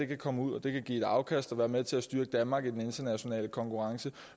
kan komme ud og det kan give et afkast og være med til at styrke danmark i den internationale konkurrence